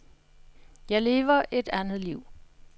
Jeg lever et andet liv.